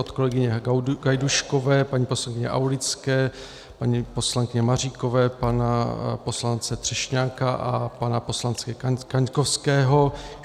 Od kolegyně Gajdůškové, paní poslankyně Aulické, paní poslankyně Maříkové, pana poslance Třešňáka a pana poslance Kaňkovského.